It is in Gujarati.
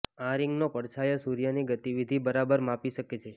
આ રિંગનો પડછાયો સૂર્યની ગતિવિધિ બરાબર માપી શકે છે